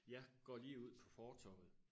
jeg går lige ud på fortorvet